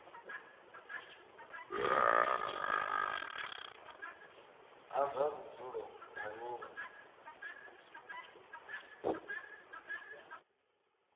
a zwa vhudzulo nga nila